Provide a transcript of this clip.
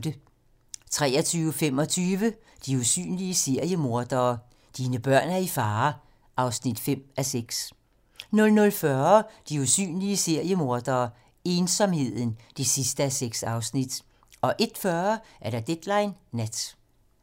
23:45: De usynlige seriemordere: Dine børn er i fare (5:6) 00:40: De usynlige seriemordere: Ensomheden (6:6) 01:40: Deadline nat